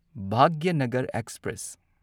Bhagyanagar express